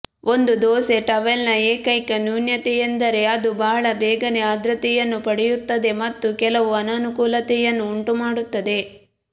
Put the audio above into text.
ಒಂದು ದೋಸೆ ಟವೆಲ್ನ ಏಕೈಕ ನ್ಯೂನತೆಯೆಂದರೆ ಅದು ಬಹಳ ಬೇಗನೆ ಆರ್ದ್ರತೆಯನ್ನು ಪಡೆಯುತ್ತದೆ ಮತ್ತು ಕೆಲವು ಅನಾನುಕೂಲತೆಯನ್ನು ಉಂಟುಮಾಡುತ್ತದೆ